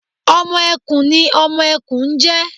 Ọmọ ẹkùn ni ọmọ ẹkùn ń jẹ́